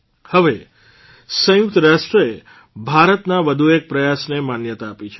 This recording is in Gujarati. હવે સંયુકત રાષ્ટ્રે ભારતના વધુ એક પ્રયાસને માન્યતા આપી છે